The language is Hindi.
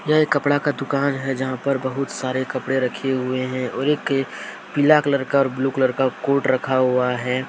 यह कपड़ा का दुकान है जहां पर बहुत सारे कपड़े रखे हुए हैं और एक पीला कलर का और ब्लू कलर का कोट रखा हुआ है।